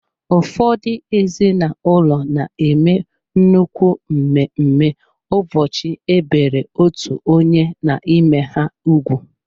Ụfọdụ ezinụlọ na-eme nnukwu mmemme ụbọchị e biri otú onye n'ime ha ugwu.